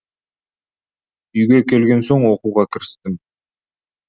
үйге келген соң оқуға кірістім